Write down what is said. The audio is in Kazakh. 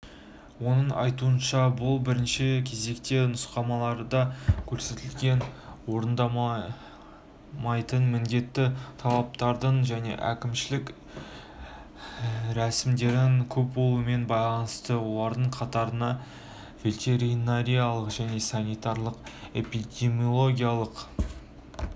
оның айтуынша бұл бірінші кезекте нұсқамаларда көрсетілген орындалмайтын міндетті талаптардың және әкімшілік рәсімдердің көп болуымен байланысты олардың қатарына ветеринариялық және санитариялық-эпидемиологиялық